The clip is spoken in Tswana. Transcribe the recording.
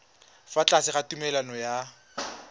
fa tlase ga tumalano ya